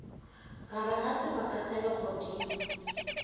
gare ga sebaka sa legodimo